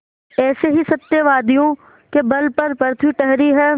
ऐसे ही सत्यवादियों के बल पर पृथ्वी ठहरी है